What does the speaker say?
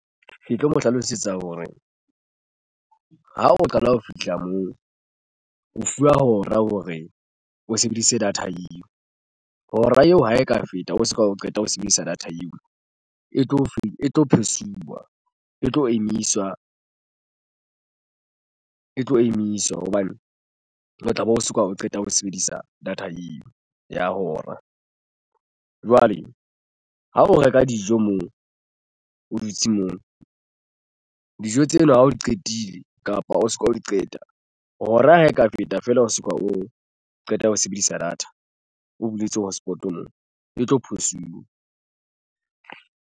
Ke tlo mo hlalosetsa hore ha o qala ho fihla moo o fuwa hora hore o sebedise data eo hora eo ha e ka feta o soka o qeta ho sebedisa data eo e tlo fe. E tlo pause-iwa e tlo emiswa e tlo emiswa hobane o tlabe o soka o qeta ho sebedisa data eo ya hora. Jwale ha o reka dijo moo o dutse moo dijo tseno ha o qetile kapa o soka o di qeta hora ha e ka feta feela o soka o qeta ho sebedisa data o buletse hotspot moo e tlo phosuwa.